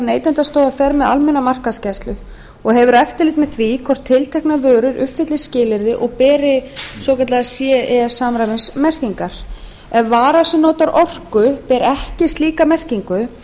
neytendastofa fer með almenna markaðsgæslu og hefur eftirlit með því hvort tilteknar vörur uppfylli skilyrði og beri ce samræmismerkingar ef vara sem notar orku ber ekki ce merkingu